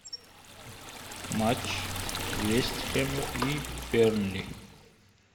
матч вест хэма и бернли